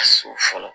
A su fɔlɔ